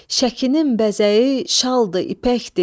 Şəkinin bəzəyi şaldır, ipəkdir.